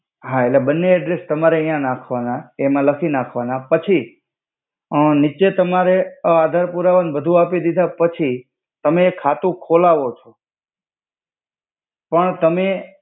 હા એટ્લે બને એડ્રેસ્સ તમારે ન્યા નખ્વાના એમા લખી નાખ્વા ના પછી અ નિચે તમારે આધાર પુરાવા ન બધુ આપિ દિધા પછી તમે ખાતુ ખોલાવો છો પણ તમે